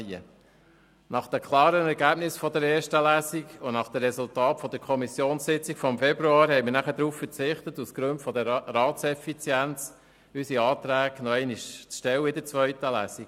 Nach den klaren Ergebnissen in der ersten Lesung und nach den Resultaten der Kommissionssitzung vom Februar haben wir aus Gründen der Ratseffizienz darauf verzichtet, unsere Anträge in der zweiten Lesung noch einmal zu stellen.